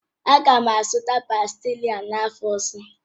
Aga m azụta pástila n'afọ ọzọ